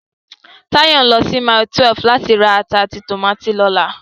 Táyọ̀ ń lọ sí Mile 12 láti ra ata àti tòmátì lọ́la